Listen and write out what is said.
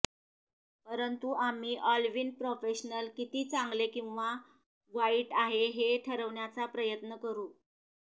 परंतु आम्ही ऑलविन प्रोफेशनल किती चांगले किंवा वाईट आहे हे ठरवण्याचा प्रयत्न करू